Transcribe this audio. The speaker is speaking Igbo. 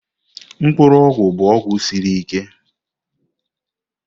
Mkpuru ogwu bụ ọgwụ siri ike.